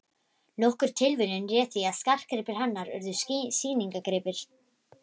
Nokkur tilviljun réð því að skartgripir hennar urðu sýningargripir